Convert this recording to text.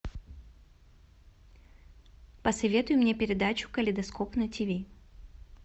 посоветуй мне передачу калейдоскоп на тв